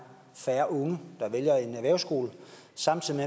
færre unge der vælger en erhvervsskole samtidig